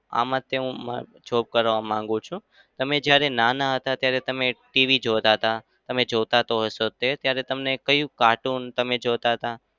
આમાં તે હું job કરવા માંગુ છું. તમે જ્યારે નાના હતા ત્યારે તમે TV જોતા હતા? તમે જોતા તો હશો જ ત્યારે તમે કયું cartoon તમે જોતા હતા?